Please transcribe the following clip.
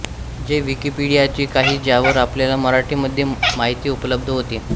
जे विकिपीडियाची आहे ज्यावर आपल्याला मराठीमध्ये माहिती उपलब्ध होते